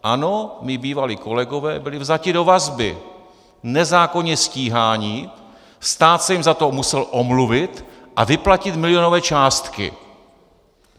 Ano, mí bývalí kolegové byli vzati do vazby, nezákonně stíháni, stát se jim za to musel omluvit a vyplatit milionové částky.